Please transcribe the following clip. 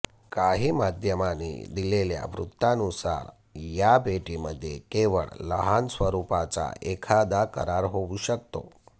काही माध्यमांनी दिलेल्या वृत्तानुसार या भेटीमध्ये केवळ लहान स्वरुपाचा एखादा करार होऊ शकतो